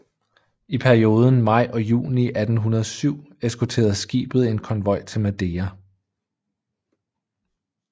I perioden maj og juni 1807 eskorterede skibet en konvoj til Madeira